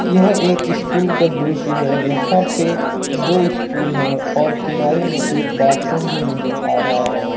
यह एक स्कूल का दृश्य है यहां पे दो स्कूल है और किनारे में एक बाथरूम भी नजर आ रहा है।